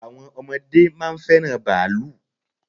Àwọn ọmọdé máa ń fẹ́ràn bàálù.